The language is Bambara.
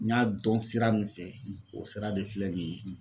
N y'a dɔn sira min fɛ o sira de filɛ nin ye.